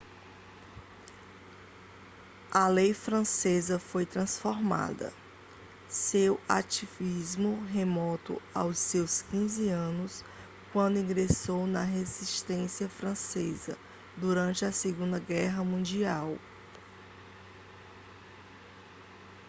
a lei francesa foi transformada seu ativismo remonta aos seus 15 anos quando ingressou na resistência francesa durante a segunda guerra mundial